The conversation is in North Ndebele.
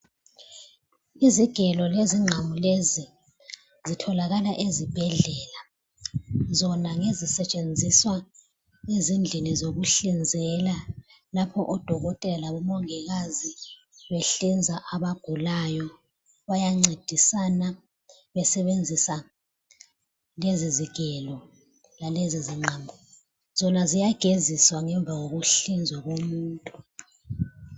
Izigelo lezinqamu lezi zitholakala ezibhedlela, zona ngezisetshenziswa ezindlini zokuhlizela lapho odokotela labomongikazi behliza abagulayo. Bayancedisana besebenzisa lezi zigelo lalezi zinqamu. Zona ziyageziswa ngemva kokuhlizwa komuntu.